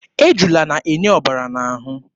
Ejula na-enye ọbara n'ahụ.